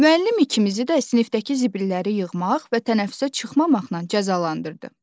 Müəllim ikimizi də sinifdəki zibilləri yığmaq və tənəffüsə çıxmamaqla cəzalandırdı.